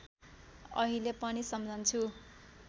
अहिले पनि सम्झन्छु